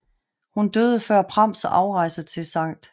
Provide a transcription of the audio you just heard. Hun døde før Prams afrejse til St